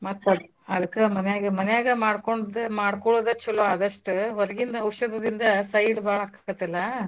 ಮತ್ ಅದ್~ ಅದಕ್ಕ ಮನ್ಯಾಗ ಮನ್ಯಾಗ ಮಾಡ್ಕೊಂಡ್ದ~ ಮಾಡ್ಕೊಳೋದ ಚಲೋ ಆದಸ್ಟ ಹೊರಗಿಂದ್ ಔಷದ್ದಿಂದ side ಬಾಳಾಕ್ಕೆತ್ತಲ್ಲ.